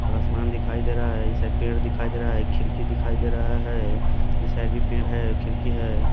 और आसमान दिखाई दे रहा है इस साइड पेड़ दिखाए दे रहा है खिड़की दिखाई दे रहा है इस साइड भी पेड़ है खिड़की है।